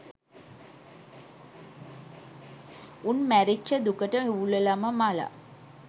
උන් මැරිච්ච දුකට හූල්ලලම මළා